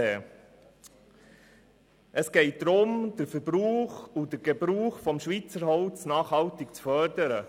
Vielmehr geht es darum, den Verbrauch und Gebrauch von Schweizer Holz nachhaltig zu fördern.